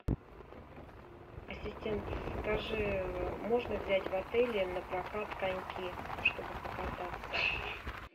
ассистент скажи можно взять в отеле напрокат коньки чтобы покататься